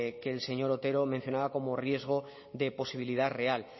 que el señor otero mencionaba como riesgo de posibilidad real